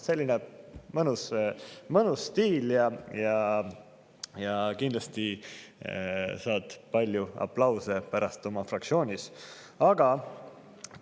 Selline mõnus stiil ja kindlasti saab ta pärast oma fraktsioonis palju aplause.